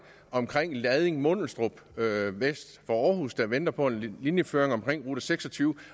omkring lading og mundelstrup vest for aarhus der venter på en linjeføring omkring rute seks og tyve